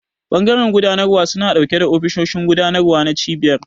Bangaren gudanarwa suna dauke da ofisoshin gudanarwa na cibiyar.